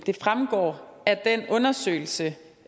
fremgår af den undersøgelse